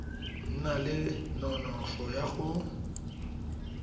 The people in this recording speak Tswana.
na le nonofo ya go